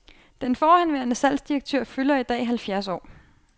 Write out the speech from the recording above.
Den forhenværende salgsdirektør fylder i dag halvfjerds år.